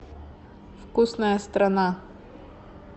вкусная страна